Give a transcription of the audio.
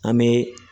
An bɛ